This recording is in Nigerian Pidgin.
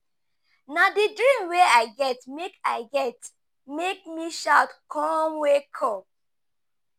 Na di dream wey I get make I get make me shout com wake up.